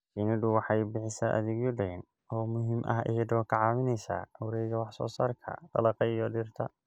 Shinnidu waxay bixisaa adeegyo deegaan oo muhiim ah iyadoo ka caawinaysa wareegga wax soo saarka dalagga iyo dhirta.